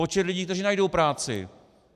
Počet lidí, kteří najdou práci.